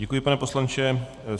Děkuji, pane poslanče.